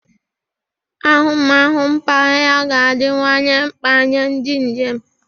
Ahụmahụ mpaghara ga-adịwanye mkpa nye ndị njem.